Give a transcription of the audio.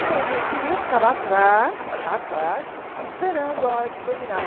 Então a gente ia, ficava atrás, atrás, esperando a hora que terminava.